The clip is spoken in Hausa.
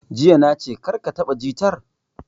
Jiya na ce 'Kar ka taɓa jitar'!